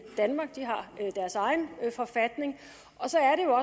danmark de har deres egen forfatning